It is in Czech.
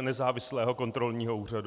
nezávislého kontrolního úřadu.